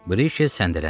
Brikey səndələdi.